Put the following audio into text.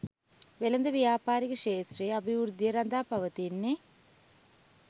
වෙළඳ ව්‍යාපාරික ක්ෂේත්‍රයේ අභිවෘද්ධිය රඳා පවතින්නේ